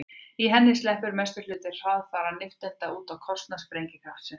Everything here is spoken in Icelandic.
í henni sleppur mestur hluti hraðfara nifteindanna út á kostnað sprengikraftsins